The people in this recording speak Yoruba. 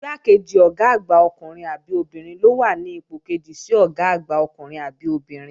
Igbákejì Ọ̀gá àgbà ọkùnrin àbí obìnrin ló wà ní ipò kejì sí Ọ̀gá àgbà ọkùnrin àbí obìnrin